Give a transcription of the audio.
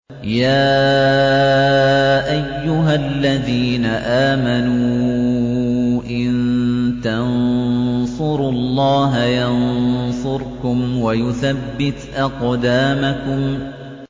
يَا أَيُّهَا الَّذِينَ آمَنُوا إِن تَنصُرُوا اللَّهَ يَنصُرْكُمْ وَيُثَبِّتْ أَقْدَامَكُمْ